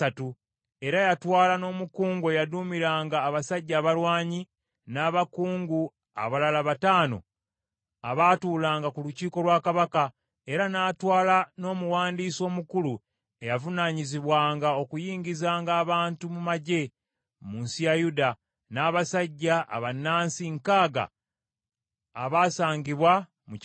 Era yatwala n’omukungu eyaduumiranga abasajja abalwanyi, n’abakungu abalala bataano abatuulanga ku lukiiko lwa kabaka; era n’atwala n’omuwandiisi omukulu eyavunaanyizibwanga okuyingizanga abantu mu magye mu nsi ya Yuda, n’abasajja abannansi nkaaga abaasangibwa mu kibuga.